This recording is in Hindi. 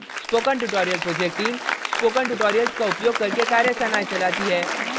spoken tutorial project team spoken tutorials का उपयोग करके कार्यशालाएं चलाती है